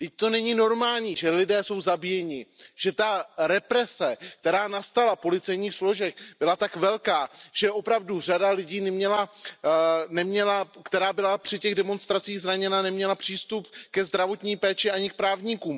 Vždyť to není normální, že lidé jsou zabíjeni, že ta represe, která nastala u policejních složek, byla tak velká, že opravdu řada lidí, která byla při těch demonstracích zraněna, neměla přístup ke zdravotní péči ani k právníkům.